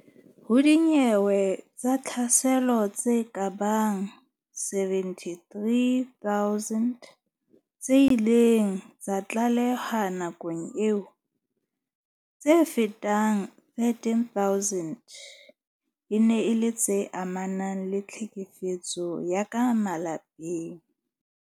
Ho dinyewe tsa tlhaselo tse kabang 73 000 tse ileng tsa tlalehwa nakong eo, tse fetang 13000 e ne e le tse amanang le tlhekefetso ya ka malapeng.